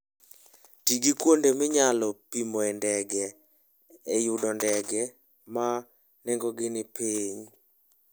Ti gi kuonde minyalo pimoe ndege e yudo ndege ma nengogi ni piny.